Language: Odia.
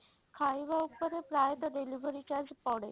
ଖାଇବା ଉପରେ ପ୍ରାୟତଃ delivery charge ପଡେ।